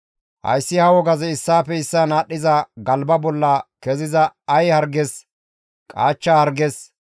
Hayssi ha wogazi issaafe issaan aadhdhiza galba bolla keziza ay harges, qaachcha harges,